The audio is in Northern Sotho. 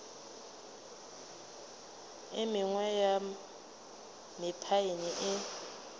e mengwe ya mephaene e